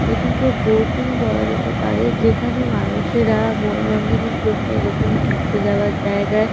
এটিকে বোটিং বলা যেতে পারে। যেখানে মানুষেরা মনরঞ্জনের জন্যে এরকম ঘুরতে যাওয়ার জায়গায়--